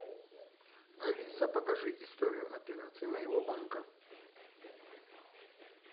алиса покажи историю операций моего банка